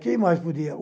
Quem mais podia?